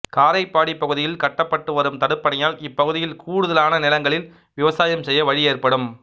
காரைப்பாடி பகுதியில் கட்டப்பட்டு வரும் தடுப்பணையால் இப்பகுதியில் கூடுதலான நிலங்களில் விவசாயம் செய்ய வழி ஏற்படும்